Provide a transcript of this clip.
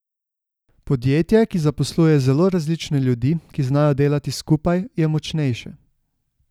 Podjetje, ki zaposluje zelo različne ljudi, ki znajo delati skupaj, je močnejše.